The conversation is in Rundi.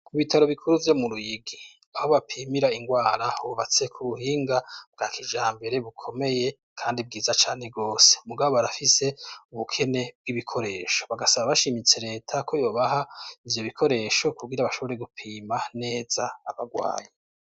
Mu bitaro bikuru vyo mu ruyigi aho bapimira ingwara hubatse ku buhinga bwa kijambere bukomeye kandi bwiza cane gwose mugabo barafise ubukene bw'ibikoresho bagasaba bashimitse reta ko yobaha ivyo bikoresho kugira bashobore gupima neza abagwayi.